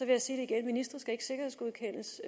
jeg sige det igen ministre skal ikke sikkerhedsgodkendes